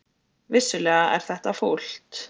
Vissulega er þetta fúlt